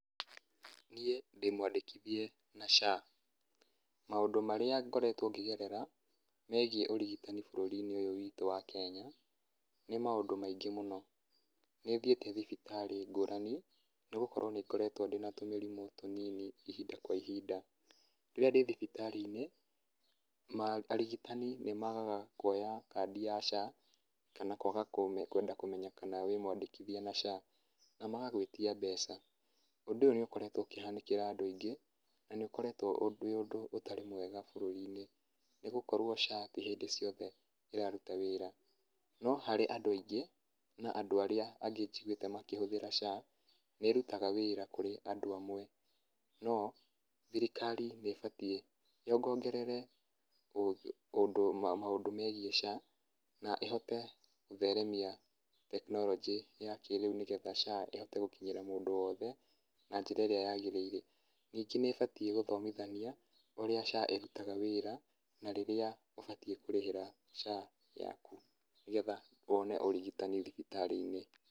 Niĩ ndĩmwandĩkithie na SHA. Maũndũ marĩa ngoretwo ngĩgerera megiĩ ũrigitani bũrũri-inĩ ũyũ witũ wa Kenya, nĩ maũndũ maingĩ mũno. Nĩ thiĩte thibitarĩ ngũrani nĩ gũkorwo nĩ ngoretwo ndĩna tũmĩrimũ tũnini ihinda kwa ihinda, rĩrĩa ndĩ thibitarĩ inĩ arigitani nĩ magaga kwoya kandi ya SHA kana kwaga kwenda kũmenya kana wĩ mwandĩkithie na SHA, na magagwĩtia mbeca, ũndũ nĩ ũkoretwo ũkĩhanĩkĩra andũ aingĩ, na ũkoretwo wĩ ũndũ ũtarĩ mwega bũrũri-inĩ, nĩ gũkorwo SHA ti hĩndĩ ciothe ĩraruta wĩra, no harĩ andũ angĩ na andũ arĩa angĩ njiguĩte makĩhũthĩra SHA nĩ ĩrutaga wĩra kũrĩ andũ amwe. No thirikari nĩ ĩbatiĩ yongongerere maũndũ megiĩ SHA na ĩhote gũtheremia tekinoronjĩ ya kĩrĩu nĩgetha SHA ĩhote gũkinyĩra mũndũ wothe na njĩra ĩrĩa yagĩrĩire. Ningĩ nĩ ĩbatiĩ gũthomithania ũrĩa SHA ĩrutaga wĩra na rĩrĩa ũbatiĩ kũrĩhĩra SHA yaku nĩgetha wone ũrigitani thibitarĩ-inĩ.